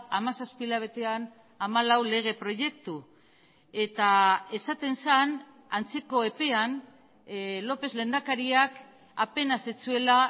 hamazazpi hilabetean hamalau lege proiektu eta esaten zen antzeko epean lópez lehendakariak apenas ez zuela